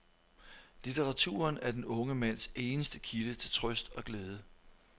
Litteraturen er den unge mands eneste kilde til trøst og glæde.